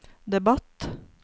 debatt